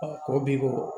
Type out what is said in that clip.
Ko bi ko